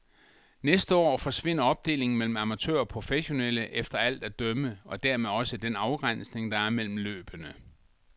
Næste år forsvinder opdelingen mellem amatører og professionelle efter alt at dømme og dermed også den afgræsning, der er mellem løbene.